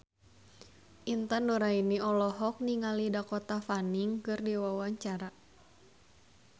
Intan Nuraini olohok ningali Dakota Fanning keur diwawancara